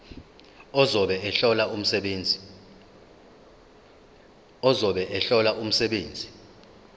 ozobe ehlola umsebenzi